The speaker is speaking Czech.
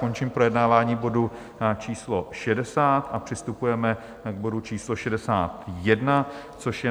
Končím projednávání bodu číslo 60 a přistupujeme k bodu číslo 61, což je